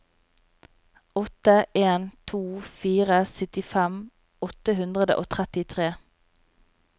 åtte en to fire syttifem åtte hundre og trettitre